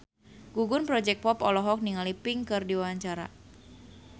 Gugum Project Pop olohok ningali Pink keur diwawancara